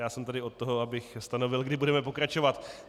Já jsem tady od toho, abych stanovil, kdy budeme pokračovat.